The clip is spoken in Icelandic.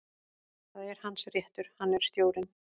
Það er hans réttur, hann er stjórinn.